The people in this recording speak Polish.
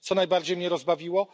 Co najbardziej mnie rozbawiło?